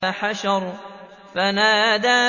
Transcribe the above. فَحَشَرَ فَنَادَىٰ